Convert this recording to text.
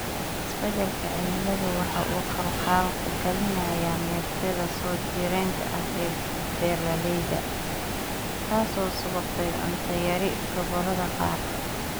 Isbadalka cimiladu waxa uu khalkhal galinayaa meertada soo jireenka ah ee beeralayda, taasoo sababtay cunto yari gobolada qaar.